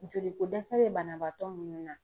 Joliko dɛsɛ bɛ banabaatɔ minnu na.